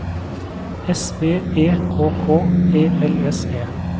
S V E K K E L S E